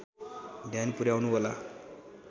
ध्यान पुर्‍याउनु होला